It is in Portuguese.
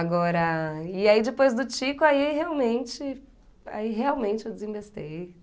Agora... E aí, depois do Tico, aí, realmente, aí, realmente, eu desembestei.